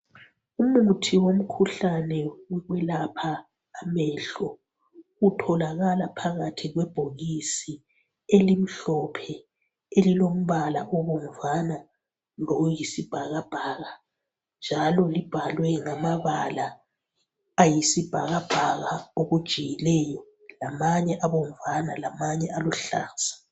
Umuthi womkhuhlane wokwelapha amehlo utholakala phakathi kwebhokisi elimhlophe elilombala obomvana loyisibhakabhaka njalo libhalwe ngamabala ayisibhakabhaka okujiyileyo lamanye abomvana lamanye aluhlaza.